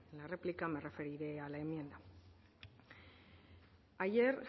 la réplica me referiré a la enmienda ayer